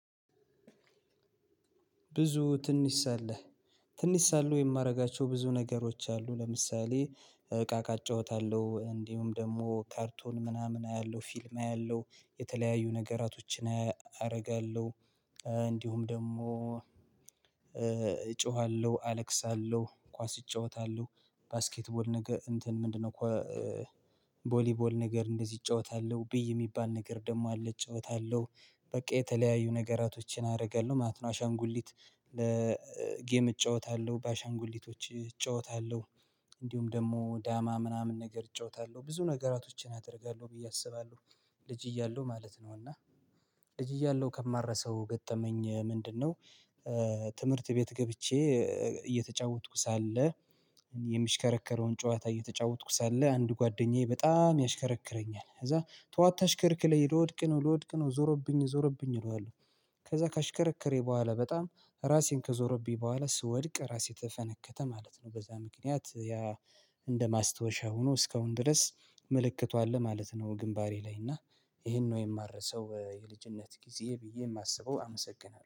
ብዙ ትንሽ ሳለህ ትንሽ ሳለሁ የማደርጋቸው ብዙ ነገሮች አሉ። ለምሳሌ እቃ እቃጨውታለሁ እንዲሁም ደግሞ ካርቶን ምናምን አያለሁ ፊልም አያለሁ የተለያዩ ነገራቶችን አደርጋለሁ። እንዲሁም ደግሞ እጮሃለሁ አለቅሳለሁ ኳስ እጫወታለሁ ባስኬት ቦል ነገር እንትን ምንድነው? ቦሊቦል ነገር እንደዚህ እጫወታለሁ ብይ የሚባል ነገር ደግሞ አለ እጫወታለሁ በቃ የተለያዩ ነገራቶችን አደርጋለሁ ማለት ነው። አሻንጉሊት ለጌም እጫወታለሁ በአሻንጉሊቶች እጫወታለሁ። እንዲሁም ደግሞ ዳማ ምናምን ነገር እጫወታለሁ ብዙ ነገራቶችን አደርጋለሁ ብዬ አስባለሁ። ልጅ እያለሁ ማለት ነው። እና እያለሁ ከማረሰው ገጠመኝ ምንድነው? ትምህርት ቤት ገብቼ እየተጫወትኩ ሳለ የሚሽከረከረውን ጨዋታ እየተጫወትኩ ሳለ አንድ ጓደኛዬ በጣም ያሽከረክረኛል ከዛ ተው አታሽከርክረኝ ልወድቅ ነው ልወድቅ ነው ዞሮብኝአል ዞሮብኝአል እለዋለሁ። ከዛ ካሽከረከረኝ በኋላ በጣም ራሴን ከዞረብኝ በኋላ ስወድቅ ራሴ ተፈነከተ ማለት ነው። በዛ ምክንያት ያ እንደ ማስታወሻ ሆኖ እስካሁን ድረስ ምልክቱ አለ ማለት ነው። ግንባሬ ላይ እና ይሄን ነው የማረሰው የልጅነት ጊዜ ብዬ የማስበው አመሰግናለሁ